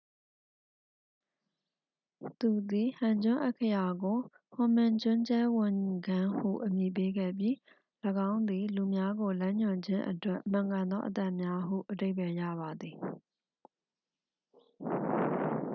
"သူသည် ဟန်ဂျွန်း အက္ခရာကို ဟွန်မင်ဂျွန်းဂျဲဝန်ဂမ်း ဟု အမည်ပေးခဲ့ပြီး၊ ၎င်းသည် "လူများကိုလမ်းညွှန်ခြင်းအတွက်မှန်ကန်သောအသံများ" ဟု အဓိပ္ပါယ်ရပါသည်။